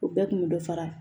O bɛɛ kun bɛ dɔ fara